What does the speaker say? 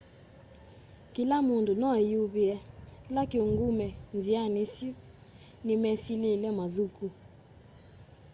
kĩla mũndũ no eyũĩvye.kĩla kĩũngũme nzĩanĩ ĩsyũ nĩ mesyĩlya mathũkũ